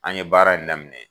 An ye baara in daminɛ.